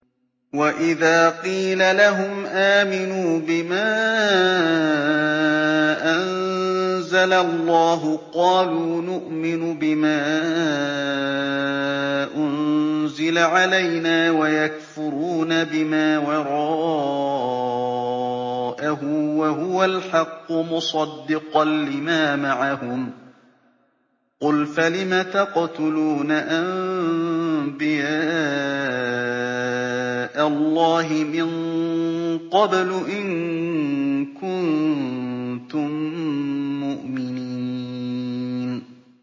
وَإِذَا قِيلَ لَهُمْ آمِنُوا بِمَا أَنزَلَ اللَّهُ قَالُوا نُؤْمِنُ بِمَا أُنزِلَ عَلَيْنَا وَيَكْفُرُونَ بِمَا وَرَاءَهُ وَهُوَ الْحَقُّ مُصَدِّقًا لِّمَا مَعَهُمْ ۗ قُلْ فَلِمَ تَقْتُلُونَ أَنبِيَاءَ اللَّهِ مِن قَبْلُ إِن كُنتُم مُّؤْمِنِينَ